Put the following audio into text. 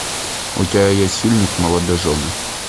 у тебя есть фильмик молодожены